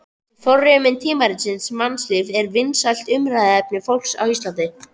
Þessi forsíðumynd tímaritsins Mannlífs var vinsælt umræðuefni fólks á Íslandi.